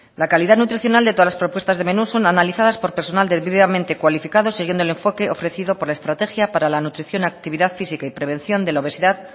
la calidad nutricional de todas las propuestas de menús son analizadas por personal debidamente cualificado siguiendo el enfoque ofrecido por la estrategia para la nutrición actividad física y prevención de la obesidad